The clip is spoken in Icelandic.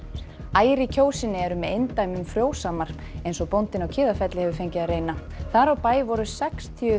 ær í Kjósinni eru með eindæmum frjósamar eins og bóndinn á Kiðafelli hefur fengið að reyna þar á bæ voru sextíu